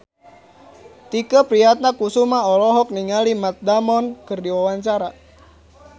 Tike Priatnakusuma olohok ningali Matt Damon keur diwawancara